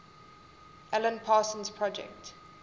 alan parsons project